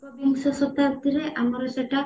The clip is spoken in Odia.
ଏକ ବିଂଶ ଶତାବ୍ଦୀରେ ଆମର ସେଇଟା